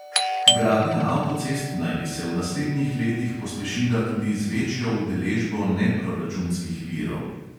Gradnja avtocest naj bi se v naslednjih letih pospešila tudi z večjo udeležbo neproračunskih virov.